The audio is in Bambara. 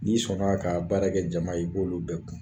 N'i sɔnna ka baarakɛ jama ye, i b'olu bɛɛ kun.